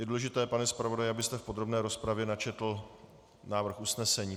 Je důležité, pane zpravodaji, abyste v podrobné rozpravě načetl návrh usnesení.